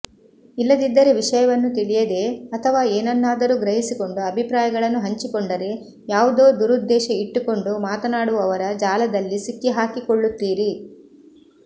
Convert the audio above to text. ಇಲ್ಲದಿದ್ದರೆ ವಿಷಯವನ್ನು ತಿಳಿಯದೇ ಅಥವಾ ಏನನ್ನಾದರೂ ಗ್ರಹಿಸಿಕೊಂಡು ಅಭಿಪ್ರಾಯಗಳನ್ನು ಹಂಚಿಕೊಂಡರೆ ಯಾವುದೋ ದುರುದ್ದೇಶ ಇಟ್ಟುಕೊಂಡು ಮಾತನಾಡುವವರ ಜಾಲದಲ್ಲಿ ಸಿಕ್ಕಿಹಾಕಿಕೊಳ್ಳುತ್ತೀರಿ